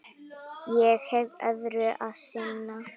Ég hef öðru að sinna.